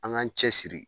An k'an cɛ siri